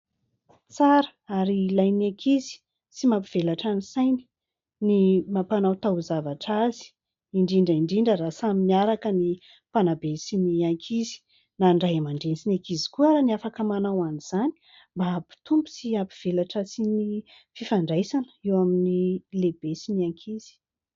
Tsara ary ilain'ny ankizy sy mampivelatra ny sainy ny mampanao taozavatra azy indrindra indrindra raha samy miaraka ny mpanabe sy ny ankizy, na ny ray aman-dreny sy ny ankizy koa ary afaka manao an'izany mba hampitombo sy hampivelatra sy ny fifandraisana eo amin'ny lehibe sy ny ankizy.